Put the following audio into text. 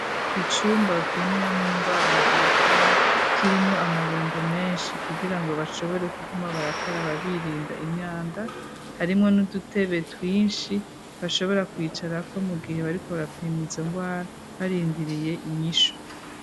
Icumba bapimiramwo indwara labolatoire kirimwo amabombo menshi kugira ngo bashobore kuguma barakara babirinda imyanda harimwo n'udutebe twinshi bashobora kwicara ko mu gihe bariko barapima izo ndwara barindiriye inyisho.